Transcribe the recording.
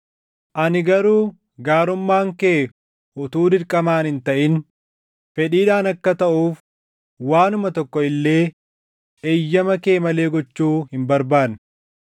Ani garuu gaarummaan kee utuu dirqamaan hin taʼin fedhiidhaan akka taʼuuf waanuma tokko illee eeyyama kee malee gochuu hin barbaanne.